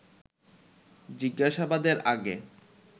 জিজ্ঞাসাবাদের আগে